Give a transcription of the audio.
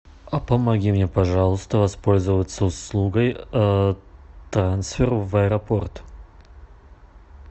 помоги мне пожалуйста воспользоваться услугой трансфер в аэропорт